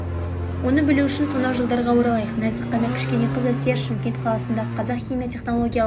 оны білу үшін сонау жылдарға оралайық нәзік қана кішкене қыз әсия шымкент қаласындағы қазақ химия технологиялық